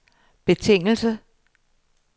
betingelse